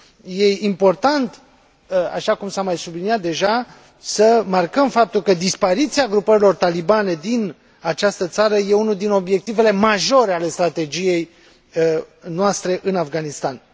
E important, așa cum s a mai subliniat deja, să marcăm faptul că dispariția grupărilor talibane din această țară e unul din obiectivele majore ale strategiei noastre în Afganistan.